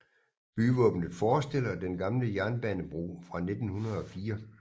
Byvåbnet forestiller den gamle jernbanebro fra 1904